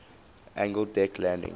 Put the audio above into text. angled deck landing